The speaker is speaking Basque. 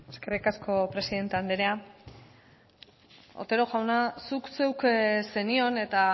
eskerrik asko presidente andrea otero jauna zuk zeuk zenion eta